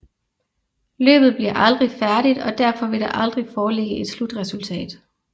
Løbet bliver aldrig færdigt og derfor vil der aldrig foreligge et slutresultat